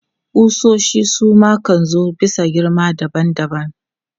Ƙusoshi su ma kan zo bisa girma daban daban.